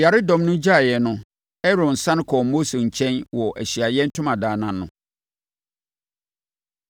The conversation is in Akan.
Ɔyaredɔm no gyaeeɛ no, Aaron sane kɔɔ Mose nkyɛn wɔ Ahyiaeɛ Ntomadan no ano.